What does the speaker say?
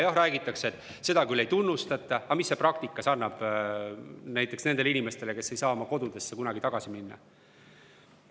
Jah, öeldakse küll, et seda ei tunnustata, aga mis see praktikas annab näiteks nendele inimestele, kes ei saa kunagi oma koju tagasi minna?